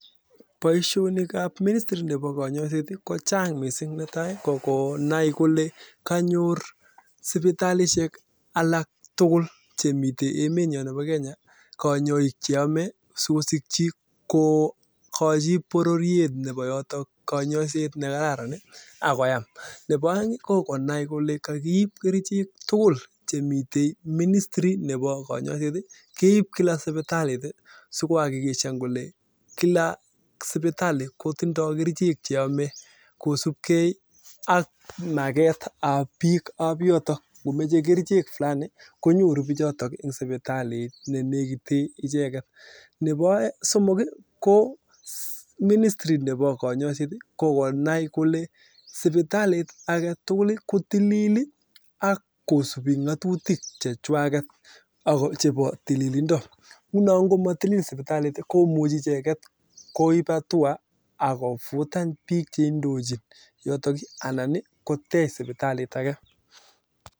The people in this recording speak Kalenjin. Netai kokonai kolee kanyor sipitalishek tugul kanyoik cheamee neboo aeng kokonai kolee kakiib kerichek tugul chemii ministrii notok kobaa sipitalishek nebo somong konai kolee sipitalit kotil